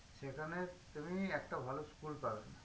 সেখানে তুমি একটা ভালো school পাবে না